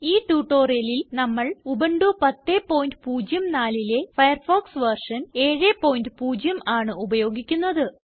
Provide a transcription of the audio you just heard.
ഈ tutorialല് നമ്മള് ഉബുന്റു 1004ലെ ഫയർഫോക്സ് വെർഷൻ 70 ആണ് ഉപയോഗിക്കുന്നത്